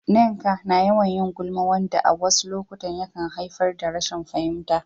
Nneka na yawan yin gulma, wanda a wasu lokuta yakan haifar da rashin fahimta.